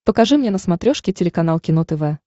покажи мне на смотрешке телеканал кино тв